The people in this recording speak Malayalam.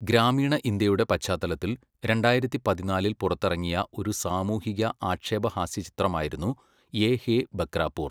ഗ്രാമീണ ഇന്ത്യയുടെ പശ്ചാത്തലത്തിൽ രണ്ടായിരത്തി പതിനാലിൽ പുറത്തിറങ്ങിയ ഒരു സാമൂഹിക ആക്ഷേപഹാസ്യ ചിത്രമായിരുന്നു യേ ഹേ ബക്രാപൂർ.